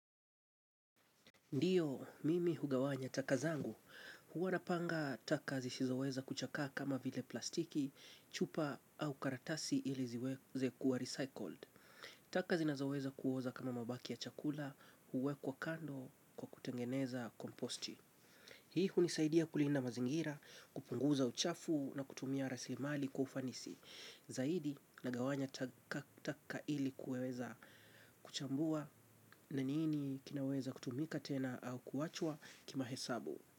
Ndiyo, mimi hugawanya taka zangu, huwa napanga taka zisizoweza kuchakaa kama vile plastiki, chupa au karatasi ili ziweze kuwa recycled. Taka zinazoweza kuoza kama mabaki ya chakula, huwekwa kando kwa kutengeneza komposti. Hii hunisaidia kulinda mazingira, kupunguza uchafu na kutumia rasilimali kwa ufanisi. Zaidi nagawanya taka ili kuweza kuchambua na nini kinaweza kutumika tena au kuachwa kimahesabu.